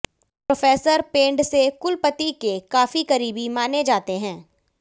professor Pendse कुलपति के काफी करीबी माने जाते हैं